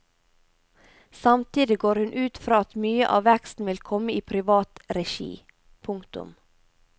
Samtidig går hun ut fra at mye av veksten vil komme i privat regi. punktum